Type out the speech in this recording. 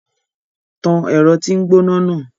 Tàn ẹrọ ti ngbona naa!